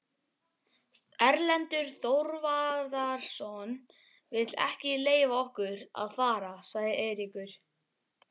Erlendur Þorvarðarson vill ekki leyfa okkur að fara, sagði Eiríkur.